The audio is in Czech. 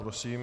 Prosím.